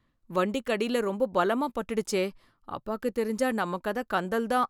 வண்டிக்கு அடில ரொம்ப பலமா பட்டுடுச்சே! அப்பாக்குத் தெரிஞ்சா நம்ம கத கந்தல் தான்.